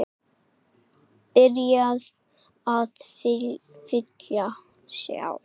Byrjuð að vilja sjá.